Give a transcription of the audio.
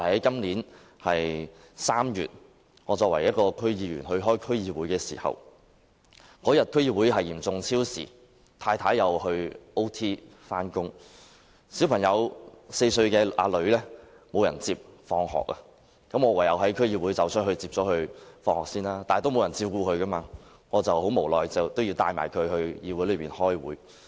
今年3月，由於我是區議員，當天要出席區議會會議，會議嚴重超時，而我太太亦要超時工作，以致無人接我的4歲女兒放學，我唯有先離開會議場地接她放學，但由於沒有人照顧她，我無奈地帶她到區議會開會。